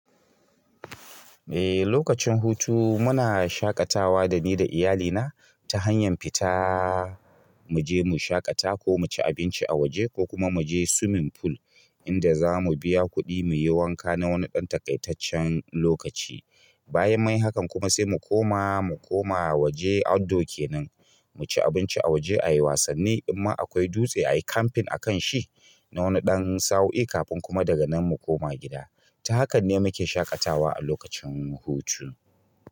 Ehh, lokacin hutu muna shaƙatawa da ni da iyalina ta hanyar fita mu je mu shaƙata ko mu ci abinci a waje ko kuma mu je swimming pool inda za mu biya kuɗi mu yi wanka na wani ɗan takaitaccen lokaci. Bayan munyi hakan kuma sai mu koma, mu koma waje outdoor kenan, mu ci abinci a waje, ayi wasanni in ma akwai dutse a yi camping a kan shi na wani ɗan sa'o'i kafin kuma daga nan mu koma gida. Ta hakan ne muke shaƙatawa a lokacin hutu.